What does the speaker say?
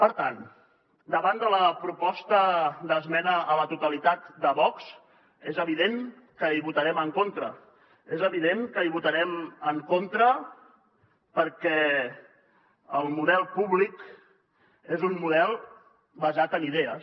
per tant davant de la proposta d’esmena a la totalitat de vox és evident que hi votarem en contra és evident que hi votarem en contra perquè el model públic és un model basat en idees